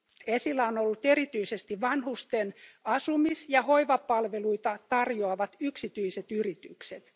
Esillä on ollut erityisesti vanhusten asumis ja hoivapalveluita tarjoavat yksityiset yritykset.